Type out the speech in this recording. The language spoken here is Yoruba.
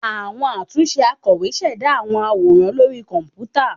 Awọn atunṣe akọwé ṣẹda awọn aworan lori kọnputa